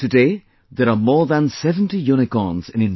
Today there are more than 70 Unicorns in India